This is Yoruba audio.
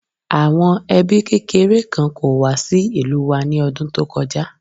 Àwọn ẹbí kékeré kan kó wá sí ìlú wa ní ọdún tó kọjá